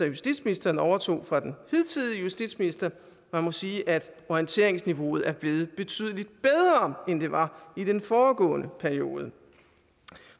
justitsministeren overtog fra den hidtidige justitsminister man må sige at orienteringsniveauet er blevet betydelig bedre end det var i den foregående periode